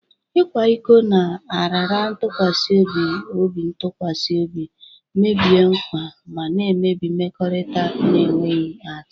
Ịkwa iko na- raara ntụkwasị obintụkwasị obi, mebie nkwa, ma na-emebi mmekọrịta na-enweghị atụ.